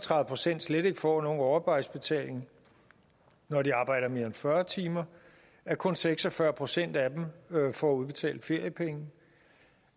tredive procent slet ikke får nogen overarbejdsbetaling når de arbejder mere end fyrre timer at kun seks og fyrre procent af dem får udbetalt feriepenge